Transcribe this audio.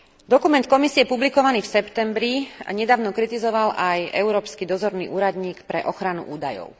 Dokument Komisie publikovaný v septembri nedávno kritizoval aj Európsky dozorný úradník pre ochranu údajov.